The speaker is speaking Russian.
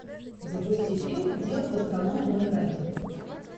запусти фильм дело гастронома номер один